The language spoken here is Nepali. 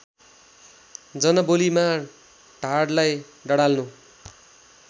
जनबोलीमा ढाडलाई डडाल्नु